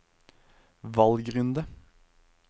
valgrunde